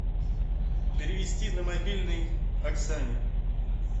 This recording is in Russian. перевести на мобильный оксане